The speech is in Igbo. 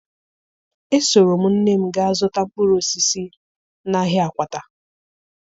Esoro m nne m gaa zụta mkpụrụ osisi n'ahịa Akwata